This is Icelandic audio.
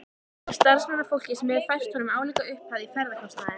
Og samstarfsfólkið hefur fært honum álíka upphæð í ferðakostnaðinn.